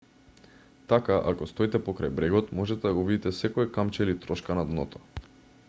така ако стоите покрај брегот можете да го видите секое камче или трошка на дното